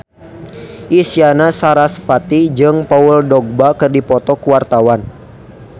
Isyana Sarasvati jeung Paul Dogba keur dipoto ku wartawan